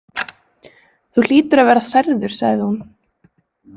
Þú hlýtur að vera særður sagði hún.